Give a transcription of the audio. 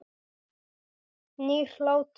Nýr hlátur.